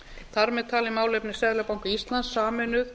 þar með talin málefni seðlabanka íslands sameinuð